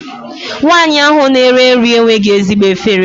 Nwaanyị ahụ na-ere nri enweghị ezigbo efere.